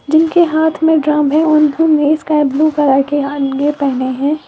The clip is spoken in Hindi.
जिनके हाथ में ड्रम है और इन्होंने स्काई ब्लू कलर के पहने है।